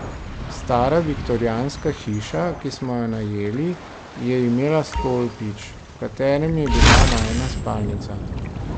Stara viktorijanska hiša, ki smo jo najeli, je imela stolpič, v katerem je bila najina spalnica.